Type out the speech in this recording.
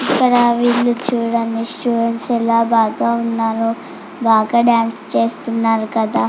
ఇక్కడ వీలు చుడండి స్టూడెంట్స్ ఎలా బాగా ఉన్నారో బాగా డాన్స్ చేస్తున్నారు కదా.